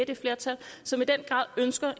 det flertal som i den grad ønsker